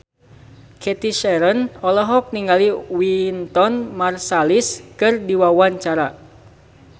Cathy Sharon olohok ningali Wynton Marsalis keur diwawancara